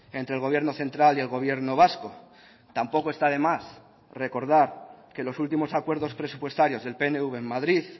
entre el gobierno central y el gobierno vasco tampoco está de más recordar que los últimos acuerdos presupuestarios del pnv en madrid